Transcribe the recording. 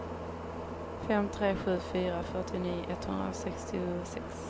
fem tre sju fyra fyrtionio etthundrasextiosex